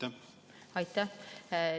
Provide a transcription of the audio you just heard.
Aitäh!